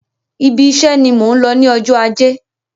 Ibi iṣe ni mò ń lọ ní ọjọ́ ajé.